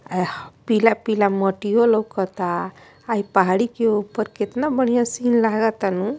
ऍह पीला पीला मोतियों लोकता आई पहाड़ी के ऊपर कितना बढ़िया सिन लगता नू।